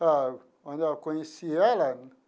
Ah, onde eu conheci ela?